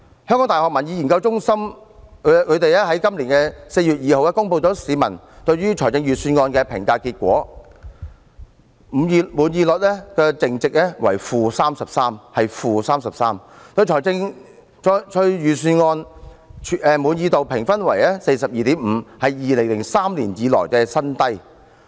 香港大學民意研究計劃在今年4月2日公布了市民對於預算案的評價結果，滿意率淨值為 -33%， 對預算案滿意度評分為 42.5， 是2003年以來的新低。